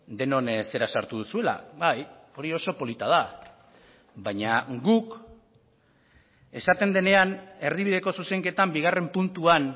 denon zera sartu duzuela bai hori oso polita da baina guk esaten denean erdibideko zuzenketan bigarren puntuan